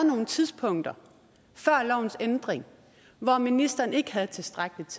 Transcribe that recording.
nogle tidspunkter før lovens ændring hvor ministeren ikke havde et tilstrækkeligt